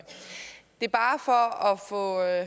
det er bare for at